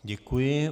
Děkuji.